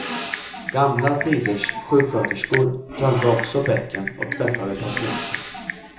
Gamla tiders sjuksköterskor tömde också bäcken och tvättade patienter.